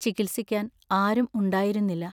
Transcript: ചികിത്സിക്കാൻ ആരും ഉണ്ടായിരുന്നില്ല.